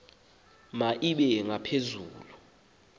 ma ibe ngaphezulu